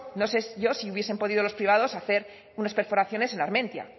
no sé yo si hubiesen podido los privados hacer unas perforaciones en armentia